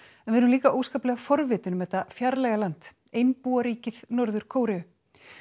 en við erum líka óskaplega forvitin um þetta fjarlæga land Norður Kóreu